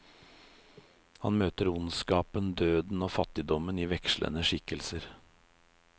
Han møter ondskpen, døden og fattigdommen i vekslende skikkelser.